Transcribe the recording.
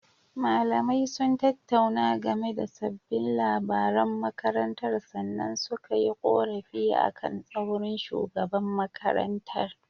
Malamai sun tattauna game da sabbin labaran makarantar sannan suka yi ƙorafi akan tsaurin shugaban makarantar.